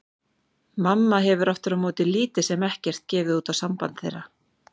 Mamma hefur aftur á móti lítið sem ekkert gefið út á samband þeirra.